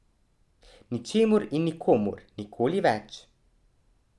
Ničemur in nikomur, nikoli več.